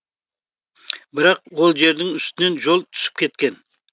бірақ ол жердің үстінен жол түсіп кеткен